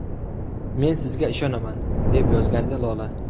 Men sizga ishonaman!” deb yozgandi Lola.